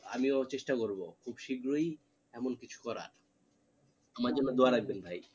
আমিও চেষ্টা করবো খুব শীঘ্রই এমন কিছু করার আমার জন্য দোয়া রাখবেন ভাই